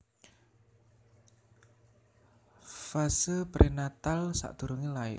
Fase Prenatal sadurunge lair